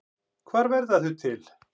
Hvar verða þau til?